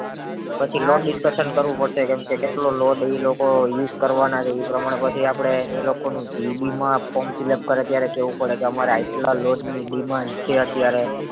પછી નો discussion કરવું પડે એમ છે કે કેટલો load use કરવાના છે ઈ પ્રમાણે આપડે એ લોકો નું GEB માં form fill up કરે ત્યારે કેવું પડે કે અમારે અયતલા load ની demand છે અત્યારે